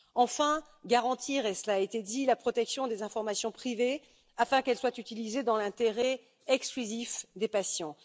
Enfin, garantir et cela a été dit la protection des informations privées afin qu'elles soient utilisées dans l'intérêt exclusif des patients.